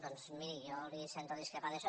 doncs miri jo sento discrepar en això